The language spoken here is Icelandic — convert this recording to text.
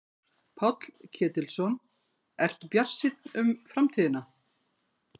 Páll Ketilsson: Ertu bjartsýnn um framtíðina?